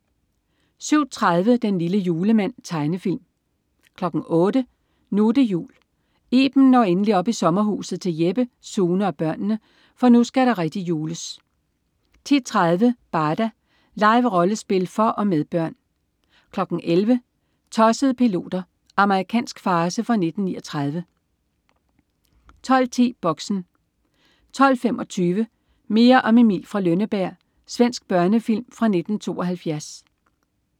07.30 Den lille julemand. Tegnefilm 08.00 Nu' det jul. Iben når endelig op i sommerhuset til Jeppe, Sune og børnene, for nu skal der rigtig jules 10.30 Barda. Live-rollespil for og med børn 11.00 Tossede piloter. Amerikansk farce fra 1939 12.10 Boxen 12.25 Mere om Emil fra Lønneberg. Svensk børnefilm fra 1972